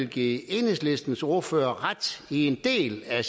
give enhedslistens ordfører ret i en del af